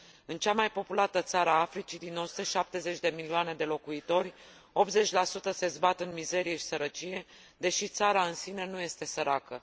În cea mai populată țară a Africii, din 170 de milioane de locuitori 80 se zbat în mizerie și sărăcie, deși țara în sine nu este săracă.